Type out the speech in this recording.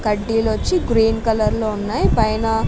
కడ్డీలు వచ్చి green colour లో ఉన్నాయ్ పైనా --